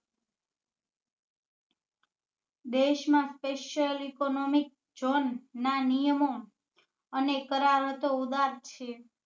દેશ માં special economic zone ના નિયમો અને કરારતો ઉદાર છે